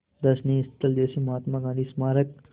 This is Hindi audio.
दर्शनीय स्थल जैसे महात्मा गांधी स्मारक